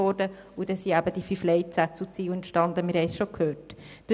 Dadurch sind die fünf Leitsätze und Ziele entstanden, die wir gehört haben.